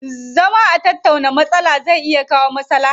Zama a tattauna matsala zai iya kawo maslaha.